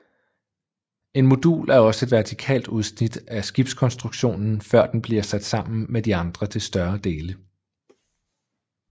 En modul er også et vertikalt udsnit af skibskonstruktionen før den bliver sat sammen med de andre til større dele